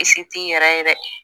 t'i yɛrɛ ye dɛ